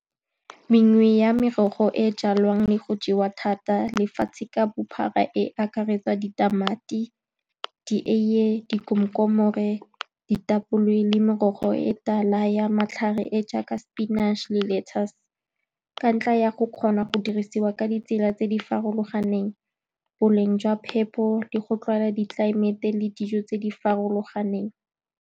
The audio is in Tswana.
Mengwe ya merogo e e jalwang le go jewa thata lefatshe ka bophara e akaretsa ditamati, dieiye, dikomkomore, ditapole, le merogo e e tala ya matlhare e e jaaka sepinatšhe le lettice, ka ntlha ya go kgona go dirisiwa ka ditsela tse di farologaneng, boleng jwa phepo, le go tlwaela ditlelaemete le dijo tse di farologaneng.